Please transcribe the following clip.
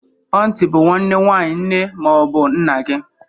Ọntị bụ nwanne nwaanyị nne ma ọ bụ nna gị.